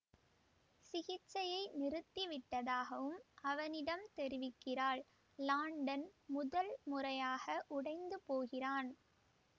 சிகிச்சையை நிறுத்தி விட்டதாகவும் அவனிடம் தெரிவிக்கிறாள் லாண்டன் முதல் முறையாக உடைந்து போகிறான்